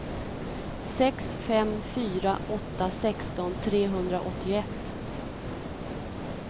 sex fem fyra åtta sexton trehundraåttioett